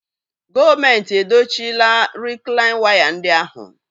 Gọọmenti edochila rịklain waya ndị ahụ